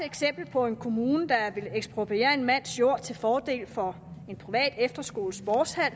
på en kommune der ville ekspropriere en mands jord til fordel for en privat efterskoles sportshal